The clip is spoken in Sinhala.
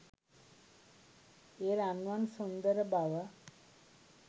ඒ රන්වන් සුන්දර බව